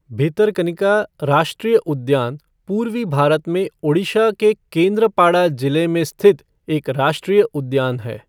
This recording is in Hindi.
भितरकनिका राष्ट्रीय उद्यान पूर्वी भारत में ओड़िशा के केंद्रपाड़ा ज़िले में स्थित एक राष्ट्रीय उद्यान है।